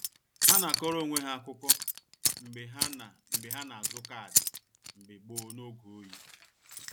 Ha na akọrọ onwe ha akụkọ mgbe ha na mgbe ha na azụ kaadị mbge gboo n' oge oyi.